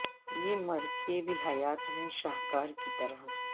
یہ مر کے بھی حیات ہیں شاہکار کی طرح